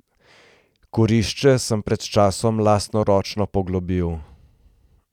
Kurišče sem pred časom lastnoročno poglobil.